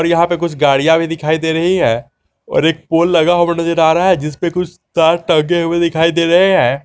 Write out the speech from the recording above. और यहां पे कुछ गाड़ियां भी दिखाई दे रही है और एक पोल लगा हुआ नजर आ रहा है जिस पे कुछ तार टंगे हुए दिखाई दे रहें है।